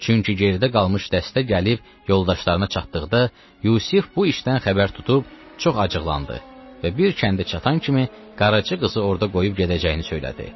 Çünki geridə qalmış dəstə gəlib yoldaşlarına çatdıqda, Yusif bu işdən xəbər tutub çox acıqlandı və bir kəndə çatan kimi qaraçı qızı orada qoyub gedəcəyini söylədi.